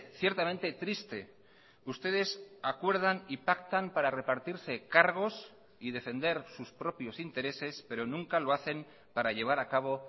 ciertamente triste ustedes acuerdan y pactan para repartirse cargos y defender sus propios intereses pero nunca lo hacen para llevar a cabo